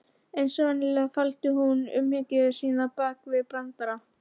Eins og venjulega, faldi hún umhyggju sína bak við brandara.